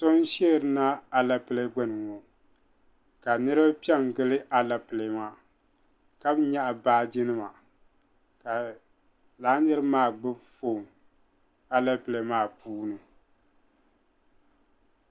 So n-sheeri na alepile gbuni ŋɔ ka niriba pe n-gili alepile maa ka nyaɣi baajinima ka lala niriba maa gbubi foon alepile maa puuni.